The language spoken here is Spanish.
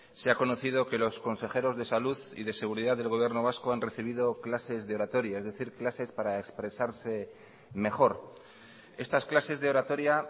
se ha conocido que los consejeros de salud y de seguridad del gobierno vasco han recibido clases de oratoria es decir clases para expresarse mejor estas clases de oratoria